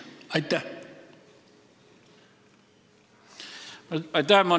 Aitäh!